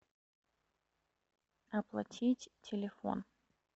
оплатить телефон